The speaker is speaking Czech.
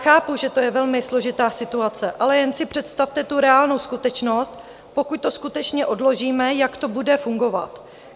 Chápu, že to je velmi složitá situace, ale jen si představte tu reálnou skutečnost, pokud to skutečně odložíme, jak to bude fungovat.